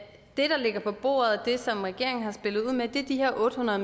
det der ligger på bordet og det som regeringen har spillet ud med er de her otte hundrede